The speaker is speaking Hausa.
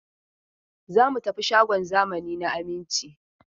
Za mu tafi shagon zamani na Aminci.